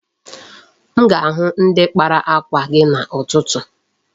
M ga-ahụ ndi kpara akwa gị a n'ụtụtụ?